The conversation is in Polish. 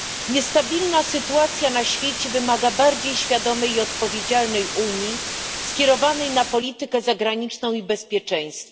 Niestabilna sytuacja na świecie wymaga bardziej świadomej i odpowiedzialnej Unii zorientowanej na politykę zagraniczną i bezpieczeństwo.